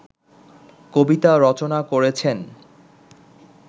কবিতা রচনা করেছেন